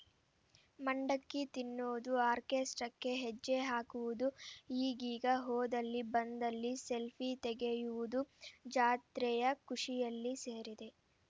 ಮಂಡಕ್ಕಿ ತಿನ್ನುವುದು ಆರ್ಕೆಸ್ಟ್ರಾಕ್ಕೆ ಹೆಜ್ಜೆ ಹಾಕುವುದು ಈಗೀಗ ಹೋದಲ್ಲಿ ಬಂದಲ್ಲಿ ಸೆಲ್ಫೀ ತೆಗೆಯುವುದೂ ಜಾತ್ರೆಯ ಖುಷಿಯಲ್ಲಿ ಸೇರಿದೆ